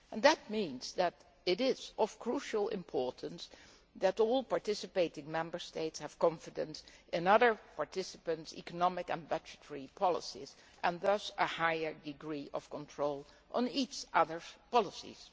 This means that it is of crucial importance that all participating Member States have confidence in other participants' economic and budgetary policies, and thus a higher degree of control over each other's policies.